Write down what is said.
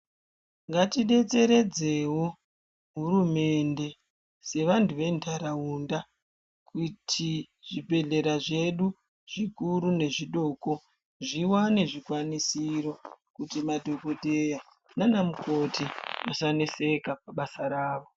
Ngatidetseredzewo Hurumende sevanhu ventharaunda kuti zvibehlera zvedu zvikuru nezvidoko zviwane zvikwanisiro kuti madhokodheya nanamukoti vasaneseka pabasa ravo.